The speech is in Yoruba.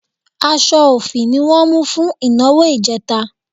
Aṣọ òfì ni wọ́n mú fún ìnáwó ìjẹta